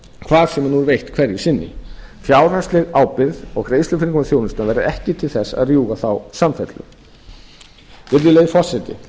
hvar sem hún er veitt hverju sinni fjárhagsleg ábyrgð og greiðslufyrirkomulag þjónustu verði ekki til þess að rjúfa þá samfellu virðulegi forseti